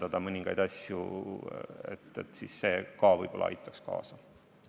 Kui mõningaid asju natuke kitsendada, võib see kaasa aidata.